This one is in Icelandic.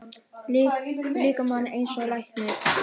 líkamann eins og læknir.